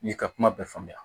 N'i ka kuma bɛɛ faamuya